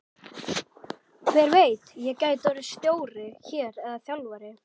Hver veit, ég gæti orðið stjóri hér eða þjálfari?